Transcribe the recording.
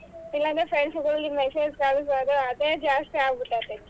ಇಲ್ಲಾಂದ್ರೆ friends ಗಳಿಗೆ message ಕಳಸೊದೆ ಅದೇ ಜಾಸ್ತಿ ಆಗ್ಬಿಟ್ಟೈತೆ.